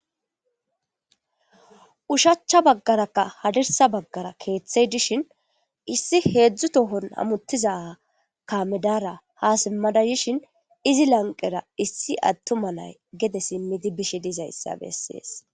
Uushachcha baggarakka hadirssa baggara keeththey dishin issi heedzdzu tohon hamuttiza kaame dara ha siimmada yishin izi lanqera issi attuma nay gedde siimmidi bishe dizayssa bessees